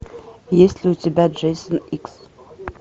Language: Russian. есть ли у тебя джейсон икс